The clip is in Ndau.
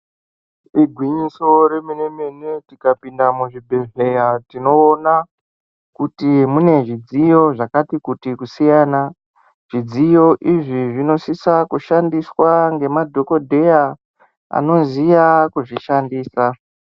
Igwinyiso remene-mene, tikapinde muzvibhedhlera tinoona kuti mune zvidziyo zvakatikuti kusiyana. Zvidziyo izvi zvinosisa kushandiswa ngemadhogodheya anoziya kuzvishandisa.